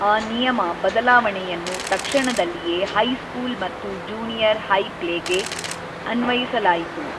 ಆ ನಿಯಮ ಬದಲಾವಣೆಯನ್ನು ತಕ್ಷಣದಲ್ಲಿಯೇ ಹೈಸ್ಕೂಲ್ ಮತ್ತು ಜೂನಿಯರ್ ಹೈ ಪ್ಲೇಗೆ ಅನ್ವಯಿಸಲಾಯಿತು.